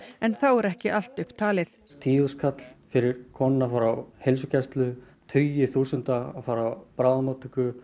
en þá er ekki allt upp talið tíu þúsund fyrir konuna að fara á heilsugæslu tugir þúsunda að fara á bráðamóttöku